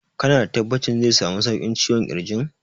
Ka na da tabbacin zai samu sauƙin ciwon ƙirjin?